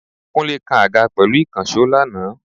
Kúnlé kan àga pẹ̀lú ìkànsó lana